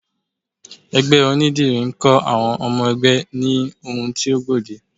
Ẹgbẹ́ onídìrí ń kọ́ àwọn ọmọ ẹgbẹ́ ní ohun tí ó gbòde